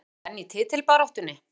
Erum við enn í titilbaráttunni?